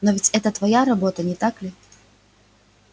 но ведь это твоя работа не так ли